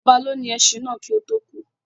Ọba lónìí ẹṣin náà kii ó tò kú